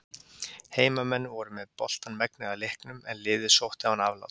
Heimamenn voru með boltann megnið af leiknum en liðið sótti án afláts.